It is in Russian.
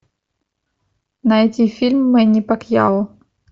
найти фильм мэнни пакьяо